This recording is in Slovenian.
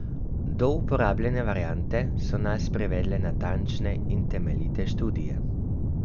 Do uporabljene variante so nas privedle natančne in temeljite študije.